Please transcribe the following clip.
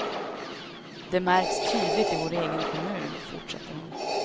Det märks tydligt i vår egen kommun, fortsätter hon.